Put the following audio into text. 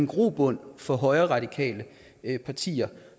grobund for højreradikale partier